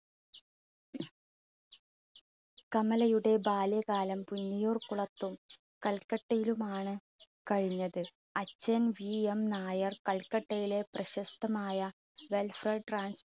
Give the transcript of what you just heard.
കമലയുടെ ബാല്യകാലം പുന്നയൂർകുളത്തും, കല്പറ്റയിലുമാണ് കഴിഞ്ഞത്. അച്ഛൻ VM നായർ കൽപ്പറ്റയിലെ പ്രശസ്തമായ welfare trans